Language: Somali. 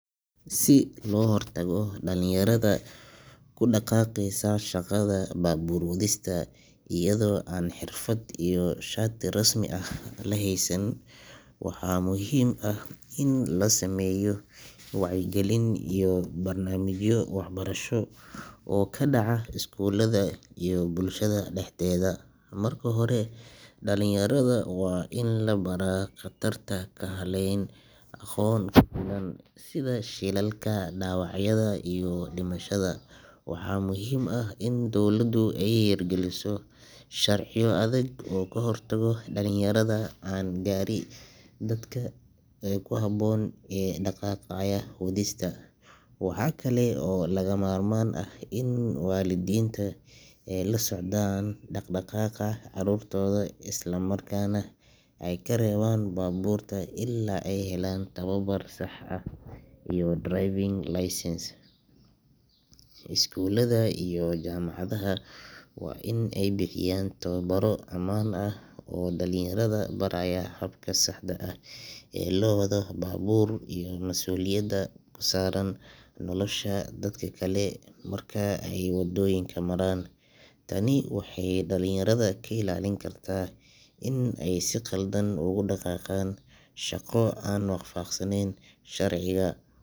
Si loo hortago dhalinyarada ku dhaqaaqaysa shaqada baabuur wadista iyadoo aan xirfad iyo shati rasmi ah la heysan, waxaa muhiim ah in la sameeyo wacyigelin iyo barnaamijyo waxbarasho oo ka dhaca iskuulada iyo bulshada dhexdeeda. Marka hore, dhalinyarada waa in la baraa khatarta ka dhalan karta wadista baabuurta iyaga oo aan lahayn aqoon ku filan, sida shilalka, dhaawacyada iyo dhimashada. Waxaa muhiim ah in dawladu ay hirgeliso sharciyo adag oo ka hortaga dhalinyarada aan gaarin da’da ku habboon ee ku dhaqaaqaya wadista. Waxa kale oo lagama maarmaan ah in waalidiinta ay la socdaan dhaqdhaqaaqa carruurtooda, isla markaana ay ka reebaan baabuurta ilaa ay helaan tababar sax ah iyo driving license. Iskuulada iyo jaamacadaha waa in ay bixiyaan tababaro ammaan ah oo dhalinyarada baraya habka saxda ah ee loo wado baabuur, iyo mas’uuliyadda ka saaran nolosha dadka kale marka ay waddooyinka maraan. Tani waxay dhalinyarada ka ilaalin kartaa in ay si qaldan ugu dhaqaaqaan shaqo aan waafaqsaneyn sharciga.